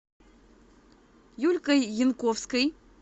юлькой янковской